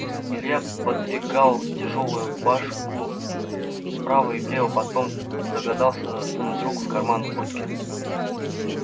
илья подвигал тяжёлую башку вправо и влево потом догадался сунуть руку в карман куртки